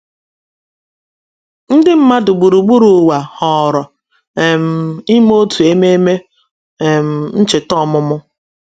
Ndị mmadụ gburugburu ụwa họọrọ um ime otu ememe um ncheta ọmụmụ.